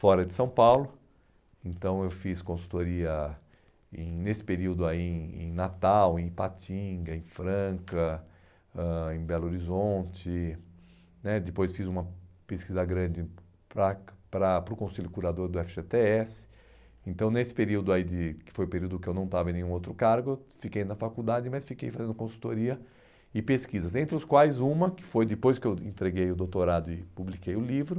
fora de São Paulo, então eu fiz consultoria em nesse período aí em em Natal, em Ipatinga, em Franca, ãh em Belo Horizonte né, depois fiz uma pesquisa grande para para o Conselho Curador do efe gê tê esse, então nesse período aí de, que foi o período que eu não estava em nenhum outro cargo, eu fiquei na faculdade, mas fiquei fazendo consultoria e pesquisas, entre os quais uma, que foi depois que eu entreguei o doutorado e publiquei o livro,